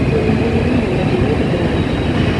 gwel mbui ni mondo iyud mwandu